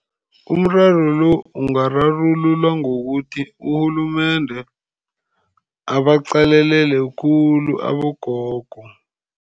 Umraro lo ungararululwa ngokuthi urhulumende abaqalelele khulu abogogo.